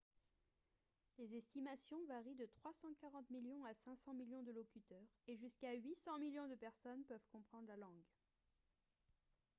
les estimations varient de 340 millions à 500 millions de locuteurs et jusqu'à 800 millions de personnes peuvent comprendre la langue